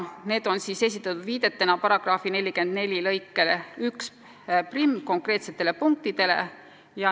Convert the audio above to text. Need on esitatud viidetena § 44 lõike 11 konkreetsetele punktidele.